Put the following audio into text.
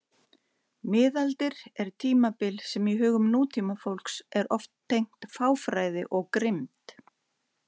Miðaldir er tímabil sem í hugum nútímafólks er oft tengt fáfræði og grimmd.